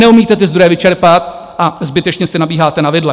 Neumíte ty zdroje vyčerpat a zbytečně si nabíháte na vidle.